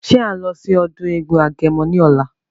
Ṣé à ń lọ sí ọdún eégún agẹmọ ní ọ̀la?